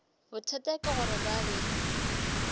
bothata ke gore ba be